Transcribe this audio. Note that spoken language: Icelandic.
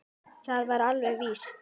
Það var alveg víst.